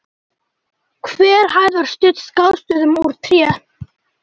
Hver hæð var studd skástoðum úr tré.